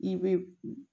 I bɛ